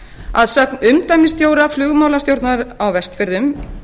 að sögn umdæmisstjóra flugmálastjórnar á vestfjörðum